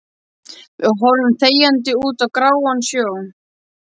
Við horfum þegjandi út á gráan sjó.